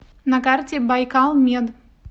на карте байкалмед